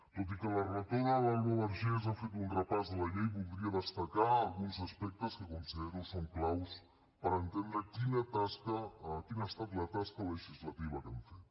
tot i que la relatora l’alba vergés ha fet un repàs de la llei voldria destacar alguns aspectes que considero que són claus per entendre quina ha estat la tasca legislativa que hem fet